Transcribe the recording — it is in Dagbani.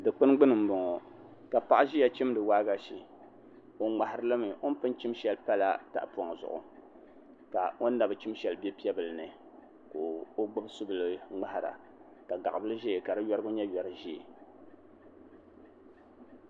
Dikpuni gbuni n boŋo ka paɣa ʒiya chimdi waagashe o ŋmahari limi o ni pun chim shɛli pala tahapoŋ zuɣu ka o ni nabi chim shɛli bɛ piɛ bili ni ka o gbubi subili ŋmahara ka gaɣa bili ʒɛya ka di yorigu nyɛ yori ʒiɛ